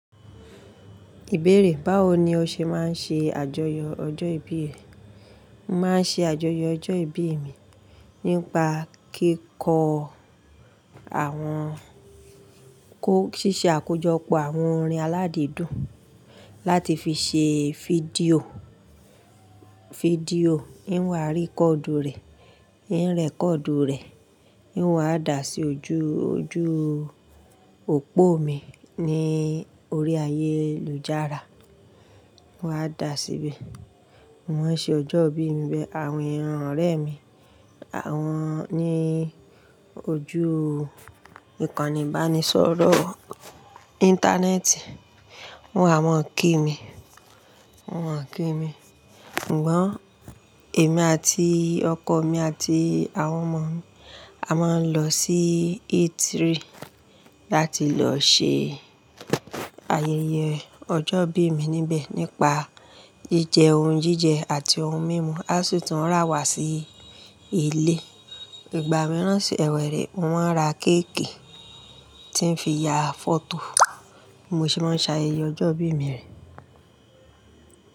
Ìbéèrè, báwo ni o ṣe máa ń ṣe àjọyọ̀ ọjọ́ ìbí rẹ? Mo máa ń ṣe àjọyọ̀ ọjọ́ ìbí mi nípa kíkọ́ àwọn kó ṣíṣe àkójọpọ̀ àwọn orin aládìídùn láti fi ṣe fídíò, fídíò, n wà rí kọ́ọ̀dù rẹ̀, n rẹ̀kọ̀ọ̀dù rẹ̀, n wà dà sí ojú, ojú òpó mi ní orí ayélujára. Mo wá dà síbẹ̀. Wọ́n ṣe ọjọ́ ìbí mi bẹ, àwọn ènìyàn ọ̀rẹ́ mi, àwọn ní ojú ìkànnì ìbánisọ̀rọ̀ íńtánẹ́ẹ̀tì, wọ́n àwọn ń kí mi, wọ́n ń kí mi. Ǹgbọ́n èmi àti ọkọ mi àti àwọn ọmọ mi, a máa ń lọ sí Eatery láti lọ ṣe ayẹyẹ ọjọ́ ìbí mi níbẹ̀ nípa jíjẹ oún jíjẹ àti ohun mímu. Á o si tún rà wá sí ilé. Ìgbà mìíràn sì ẹ̀wẹ̀ rẹ̀, mo màà ra kéékì tí ń fi ya fọ́tò, bí mo se máa ń ṣayẹyẹ ọjọ́ ìbí mi re.